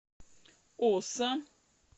оса